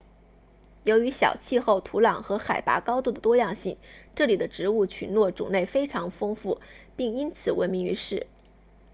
由于小气候土壤和海拔高度的多样性这里的植物群落种类非常丰富并因此闻名于世